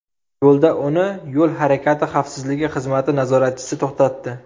Yo‘lda uni yo‘l harakati xavfsizligi xizmati nazoratchisi to‘xtatdi.